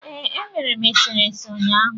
Ee, emere m eserese ụnyaahụ.